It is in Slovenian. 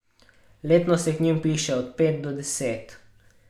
Letno se jih k njim vpiše od pet do deset.